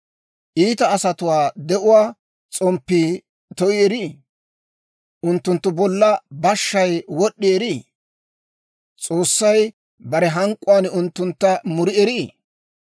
«Iita asatuwaa de'uwaa s'omppii to'i erii? Unttunttu bolla bashshay wod'd'i erii? S'oossay bare hank'k'uwaan unttuntta muri erii?